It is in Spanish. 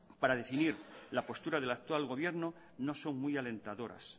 para definir la postura del actual gobierno no son muy alentadoras